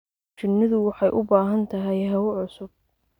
Shinnidu waxay u baahan tahay hawo cusub.